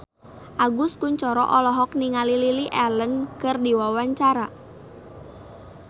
Agus Kuncoro olohok ningali Lily Allen keur diwawancara